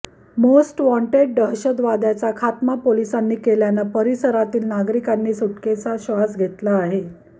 most wanted दहशतवाद्याचा खात्मा पोलिसांनी केल्यानं परिसरातील नागरिकांनी सुटकेचा श्वास घेतला आहे